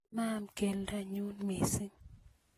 amaan keldo nyun mising